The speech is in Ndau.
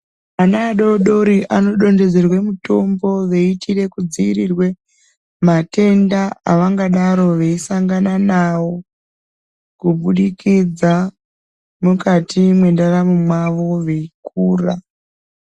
Ana adodori anodonhedzerwa mutombo veitirwa kudzivirirwa matenda avangodaro veisangana nawo kubudikidza mukati mendaramo mawo veikura.